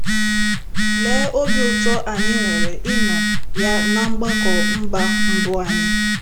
Lee obi ụtọ anyị nwere ịnọ ya ná mgbakọ mba mbụ anyị!